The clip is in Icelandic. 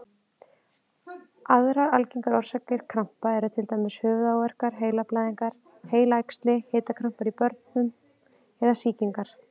Aðrar algengar orsakir krampa eru til dæmis höfuðáverkar, heilablæðingar, heilaæxli, hitakrampar í börnum eða sýkingar.